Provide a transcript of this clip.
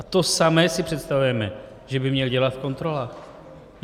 A to samé si představujeme, že by měl dělat v kontrolách.